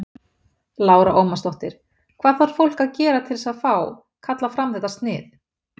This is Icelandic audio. Lára Ómarsdóttir: Hvað þarf fólk að gera til þess að fá, kalla fram þetta snið?